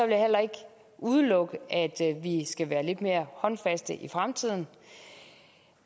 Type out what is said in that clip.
jeg heller ikke udelukke at vi skal være lidt mere håndfaste i fremtiden